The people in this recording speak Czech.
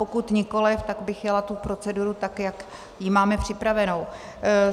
Pokud nikoliv, tak bych jela tu proceduru tak, jak ji máme připravenou.